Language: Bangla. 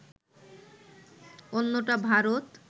অন্যটা ভারত